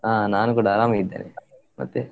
ಅಹ್ ನಾನು ಕೂಡ ಆರಾಮ್ ಇದ್ದೇನೆ, ಮತ್ತೆ?